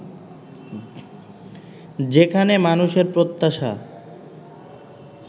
যেখানে মানুষের প্রত্যাশা